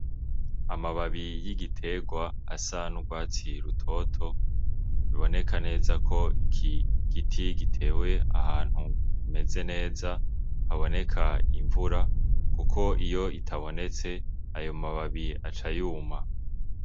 Amababi y'igiterwa asa n'urwatsi rutoto ruboneka neza ko iki giti gitewe ahantu hameze neza haboneka imvura kuko iyo itabonetse amababi aca yuma.